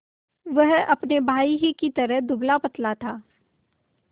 वह अपने भाई ही की तरह दुबलापतला था